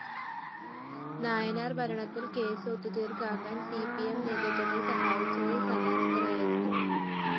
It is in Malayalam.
നായനാര്‍ ഭരണത്തില്‍ കേസ് ഒതുക്കിത്തീര്‍ക്കാന്‍ സി പി എം നേതൃത്വത്തെ സഹായിച്ചത് സദാനന്ദനായിരുന്നു